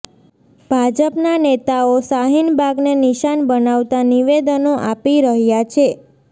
ભાજપના નેતાઓ શાહીનબાગને નિશાન બનાવતા નિવેદનો આપી રહ્યાં છે